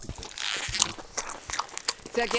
Sehr geehrter Herr Präsident, Herr Kommissar!